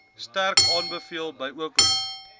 sterk aanbeveel bykomend